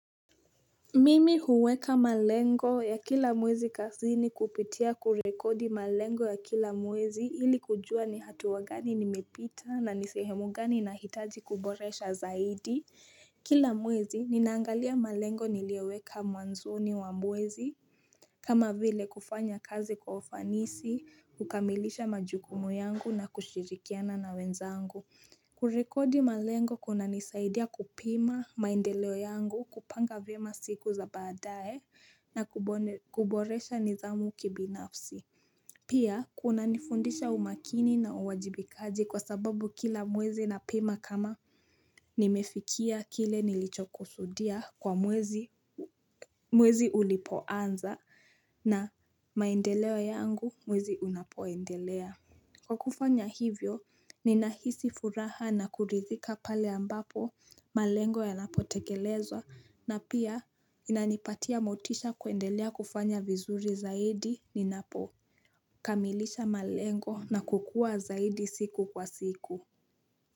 Mimi huweka malengo ya kila mwezi kazini kupitia kurekodi malengo ya kila mwezi ili kujua ni hatua gani nimepita na ni sehemu gani nahitaji kuboresha zaidi Kila mwezi ninaangalia malengo nilioweka mwanzoni wa mwezi kama vile kufanya kazi kwa ufanisi, kukamilisha majukumu yangu na kushirikiana na wenzangu kurekodi malengo kunanisaidia kupima maendeleo yangu kupanga vyema siku za baadae na kuboresha nidhamu kibinafsi Pia kunanifundisha umakini na uwajibikaji kwa sababu kila mwezi napima kama nimefikia kile nilichokusudia kwa mwezi ulipoanza na maendeleo yangu mwezi unapoendelea Kwa kufanya hivyo, ninahisi furaha na kuridhika pale ambapo malengo yanapotekelezwa na pia inanipatia motisha kuendelea kufanya vizuri zaidi ninapo kamilisha malengo na kukua zaidi siku kwa siku.